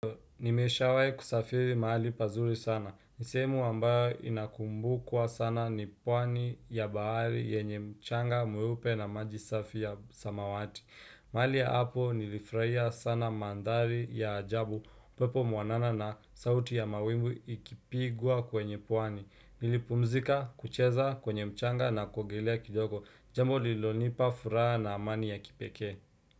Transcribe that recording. Nimesha wai kusafiri mahali pazuri sana. Nisemu ambayo inakumbu kwa sana ni pwani ya baari ya nye mchanga, mweupe na maji safi ya samawati. Maali hapo nilifraia sana mandhari ya ajabu, pepo muanana na sauti ya mawingu ikipigua kwenye pwani. Nilipumzika, kucheza, kwenye mchanga na kuogelea kidogo. Jambo lilonipa furaha na amani ya kipeke.